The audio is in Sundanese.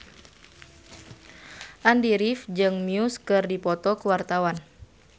Andy rif jeung Muse keur dipoto ku wartawan